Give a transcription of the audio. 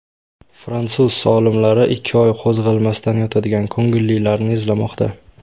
Fransuz olimlari ikki oy qo‘zg‘almasdan yotadigan ko‘ngillilarni izlamoqda.